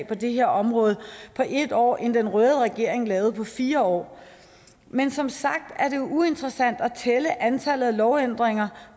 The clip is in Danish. på det her område på ét år end den røde regering lavede på fire år men som sagt er det uinteressant at tælle antallet af lovændringer